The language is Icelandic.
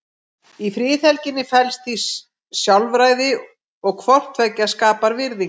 Í friðhelginni felst því sjálfræði og hvort tveggja skapar virðingu.